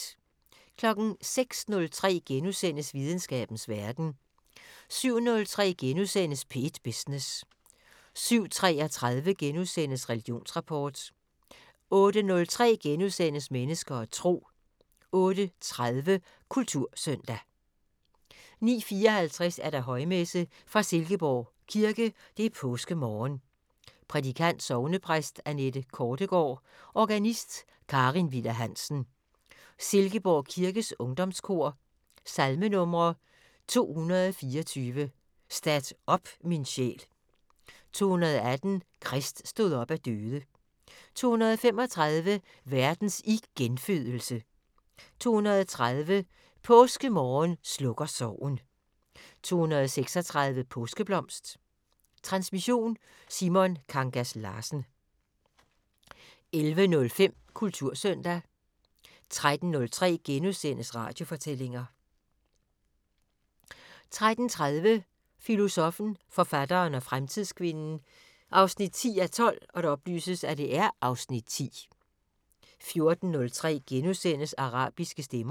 06:03: Videnskabens Verden * 07:03: P1 Business * 07:33: Religionsrapport * 08:03: Mennesker og Tro * 08:30: Kultursøndag 09:54: Højmesse - fra Silkeborg Kirke. Påskemorgen. Prædikant: Sognepræst Anette Kortegaard. Organist: Karin Viller Hansen. Silkeborg kirkes Ungdomskor. Salmenumre: 224: "Stat op min sjæl". 218: "Krist stod op af døde". 235: "Verdens igenfødelse". 230: "Påskemorgen slukker sorgen". 236: "Påskeblomst". Transmission: Simon Kangas Larsen. 11:05: Kultursøndag 13:03: Radiofortællinger * 13:30: Filosoffen, forfatteren og fremtidskvinden 10:12 (Afs. 10) 14:03: Arabiske stemmer *